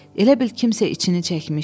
Elə bil kimsə içini çəkmişdi.